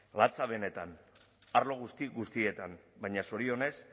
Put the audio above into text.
latza benetan arlo guzti guztietan baina zorionez